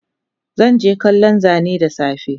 Zanje kallon Zane dasafe